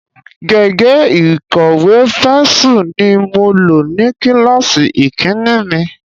Gègé ìkọ̀wé Pẹ́nsù ni mo lò ní kíláàsì ìkínní mi.